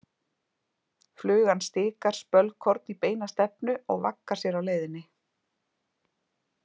Flugan stikar spölkorn í beina stefnu og vaggar sér á leiðinni.